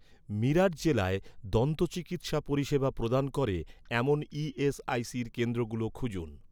মিরাট জেলায় দন্তচিকিৎসা পরিষেবা প্রদান করে, এমন ই.এস.আই.সির কেন্দ্রগুলো খুঁজুন